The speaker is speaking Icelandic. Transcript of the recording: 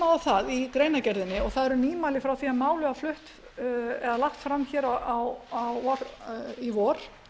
á það í greinargerðinni og það eru nýmæli frá því málið var flutt eða lagt fram hér í vor